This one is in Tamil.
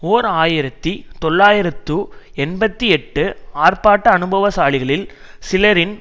ஓர் ஆயிரத்தி தொள்ளாயிரத்து எண்பத்தி எட்டு ஆர்ப்பாட்ட அனுபவசாலிகளில் சிலரின்